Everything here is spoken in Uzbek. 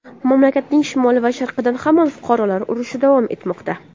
Mamlakatning shimoli va sharqida hamon fuqarolar urushi davom etmoqda.